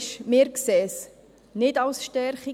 Rückblickend erachten wir es nicht als Stärkung.